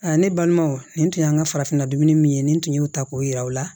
Aa ne balimanw nin tun y'an ka farafinna dumuni min ye nin tun y'u ta k'o yir'u la